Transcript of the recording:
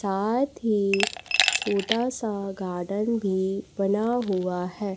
साथ हि छोटा सा गार्डन भी बना हुआ है।